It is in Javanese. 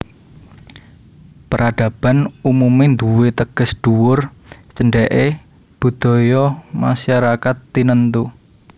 Peradaban umumé nduwé teges dhuwur cendheke budaya masyarakat tinentu